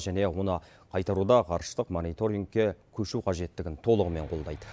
және оны қайтаруда ғарыштық мониторингке көшу қажеттігін толығымен қолдайды